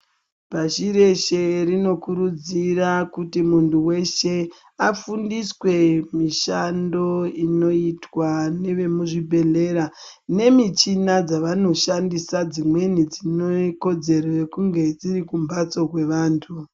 Pashi reshe rinokurudzira kuti munhu weshe afundiswe mishando inoitwaa nevemuzvibhedhlera nemichina dzavanoshandisa dzimweni dzinokodzero yekunge dziri kumbatso kwevantu.